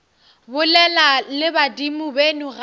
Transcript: bolela le badimo beno gape